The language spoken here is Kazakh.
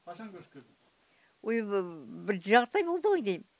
қашан көшіп келдің ой бұл бір жарты ай болды ғой деймін